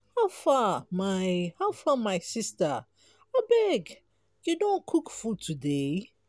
how far my far my sista abeg you don cook food today?